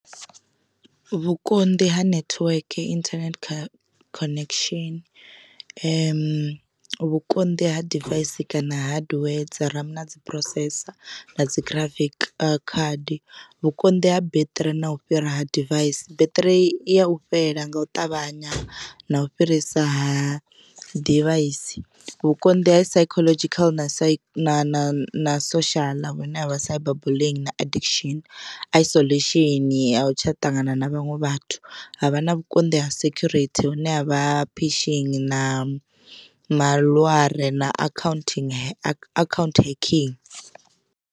Vhukonḓi ha netiweke internet kha connection vhukonḓi ha device kana hardware dzi ram na dzi processor na dzi graphic card vhukonḓi ha beṱiri na u fhira ha device, beṱiri ya u fhela nga u ṱavhanya na u fhirisa ha ḓivhaisi vhukonḓi ha psychological na psych na na na social vhune havha cyber bullying na addiction isolation a u tsha ṱangana na vhaṅwe vhathu havha na vhukonḓi ha security hune havha phishini na maḽware na akhaunthu account hacking.